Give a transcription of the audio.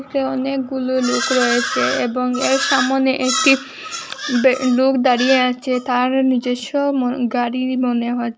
অনেকগুলু লুক রয়েছে এবং এর সামোনে একটি বে লুক দাঁড়িয়ে আছে তার নিজস্ব ম গাড়ি মনে হচ্ছে।